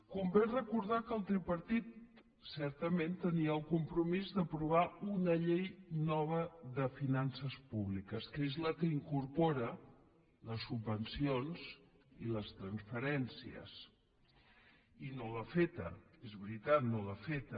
convé recordar que el tripartit certament tenia el compromís d’aprovar una llei nova de finances públiques que és la que incorpora les subvencions i les transferències i no l’ha feta és veritat no l’ha feta